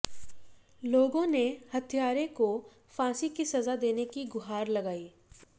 लोगों ने हत्यारे को फांसी की सजा देने की गुहार लगाई